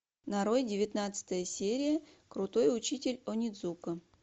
нарой девятнадцатая серия крутой учитель онидзука